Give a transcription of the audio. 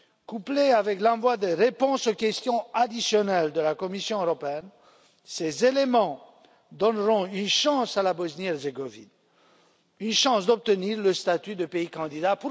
Couplés avec l'envoi des réponses aux questions additionnelles de la Commission européenne, ces éléments donneront une chance à la Bosnie Herzégovine d'obtenir le statut de pays candidat.